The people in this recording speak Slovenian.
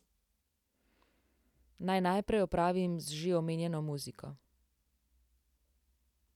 Naj najprej opravim z že omenjeno muziko.